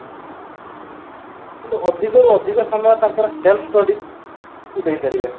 କିନ୍ତୁ ଅଧିକରୁ ଅଧିକ ସମୟ ତାଙ୍କର self study କୁ ଦେଇ ପାରିବେ